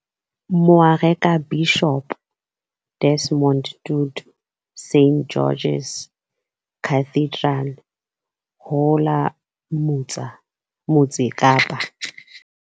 Moarekabishopo Desmond Tutu St George's Cathedral ho la Motse Kapa.